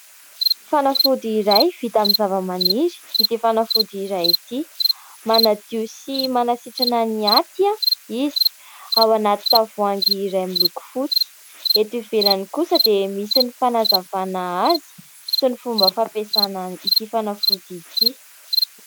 Fanafody iray vita amin'ny zavamaniry ity fanafody iray ity. Manadio sy manasitrana ny Aty izy, ao anaty tavoahangy iray miloko fotsy, eto ivelany kosa dia misy ny fanazavana azy sy ny fomba fampiasana ity fanafody ity.